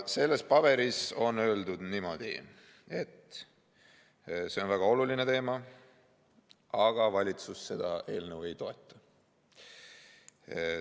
Seal on öeldud niimoodi, et see on väga oluline teema, aga valitsus seda eelnõu ei toeta.